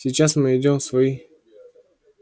сейчас мы идём в свой